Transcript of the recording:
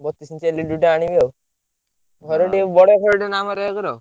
ବତିଶି ଇଞ୍ଚିଆ LED ଗୋଟେ ଆଣିବି ଆଉ ଘର ଟିକେ ବଡ କହିଛନ୍ତି, ଆମର ଏକର।